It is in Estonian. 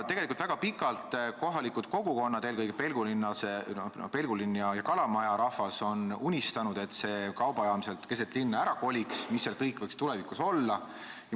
Väga pikalt on kohalikud kogukonnad, eelkõige Pelgulinna ja Kalamaja rahvas, unistanud, et see kaubajaam sealt ära koliks, ja mõelnud, mis seal kõik võiks tulevikus olla.